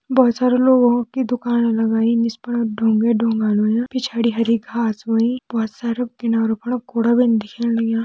बहौत सारा लोगो की दुकान लगायीं इसपर ढुंगा-ढुंगा हुयां पिछाड़ी हरी घास भी हुईं बहौत सारू कीनारु पर कूड़ा बिन दिख्येण लाग्यां।